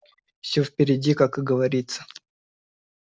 всё впереди как говорится